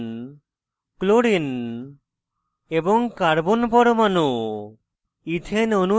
oxygen chlorine এবং carbon পরমাণু